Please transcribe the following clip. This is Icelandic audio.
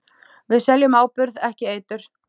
Við seljum áburð, ekki eitur.